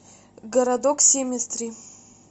городок семетри